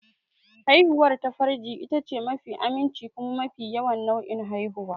Haihuwar ta farji itace mafi aminci kuma mafi yawan nau'in haihuwa.